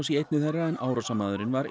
í einni þeirra en árásarmaðurinn var